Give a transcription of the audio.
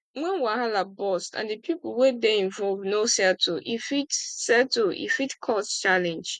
when wahala burst and di pipo wey dey involve no settle e fit settle e fit cause challenge